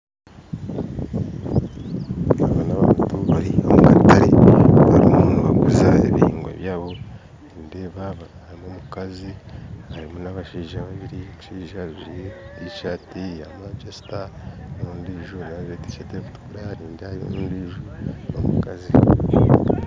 Aba n'abantu bari omu katare barimu nibaguza ebihingwa byabo nindeeba harimu omukazi n'abashaija babiri omushaija ajwaire tiishaati ya Manchester n'ondiijo nawe ajwaire tiishaati erikutukura nindeeba hariyo n'ondiijo n'omukazi